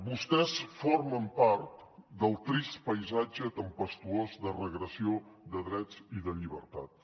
vostès formen part del trist paisatge tempestuós de regressió de drets i de llibertats